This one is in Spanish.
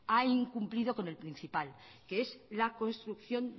ha incumplido con el principal que es la construcción